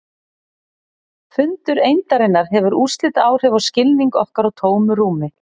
Fundur eindarinnar hefur úrslitaáhrif á skilning okkar á tómu rúmi.